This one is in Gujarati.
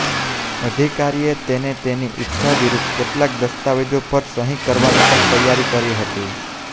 અધિકારીએ તેને તેની ઇચ્છા વિરુદ્ધ કેટલાક દસ્તાવેજો પર સહી કરવાની પણ તૈયારી કરી હતી